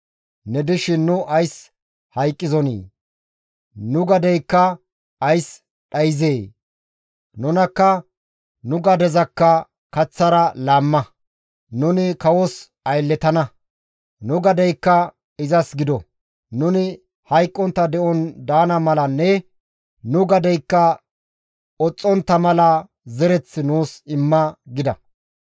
Ne dishin nu ays hayqqizonii? Nu gadeykka ays dhayzee? Nunakka nu gadezakka kaththara laamma; nuni kawos aylletana; nu gadeykka izas gido; nuni hayqqontta de7on daana malanne nu gadeykka oxxontta mala zereth nuus imma» gida.